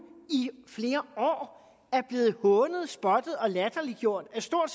i flere år er blevet hånet spottet og latterliggjort af stort